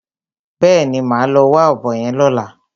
Bẹ́ẹ̀ni, màá lọ wá ọ̀bọ yẹn lọ́la.